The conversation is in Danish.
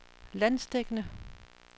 landsdækkende